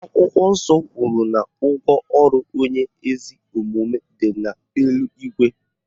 Akwụkwọ nsọ kwuru na ụgwọ ọrụ onye ezi omume dị n'eluigwe